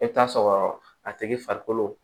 E bɛ taa sɔrɔ a tigi farikolo